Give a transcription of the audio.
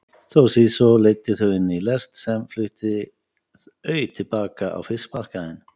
Toshizo leiddi þau inn í lest sem flutti au til baka á fiskmarkaðinn.